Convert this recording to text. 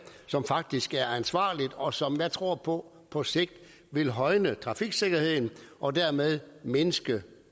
som faktisk er ansvarligt og som jeg tror på på sigt vil højne trafiksikkerheden og dermed mindske